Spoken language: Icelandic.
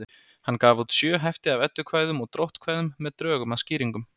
hann gaf út sjö hefti af eddukvæðum og dróttkvæðum með drögum að skýringum